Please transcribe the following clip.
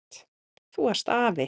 Þú varst afi.